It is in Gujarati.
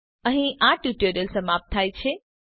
અહીં આ ટ્યુટોરીયલ સમાપ્ત થાય છે